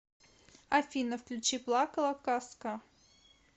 афина включи плакала казка